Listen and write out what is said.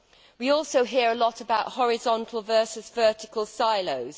We also hear a lot about horizontal versus vertical silos.